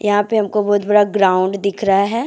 यहां पे हमको बहुत बड़ा ग्राउंड दिख रहा है।